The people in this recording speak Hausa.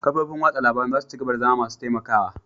Kafofin watsa labarun za su ci gaba da zama masu taimakawa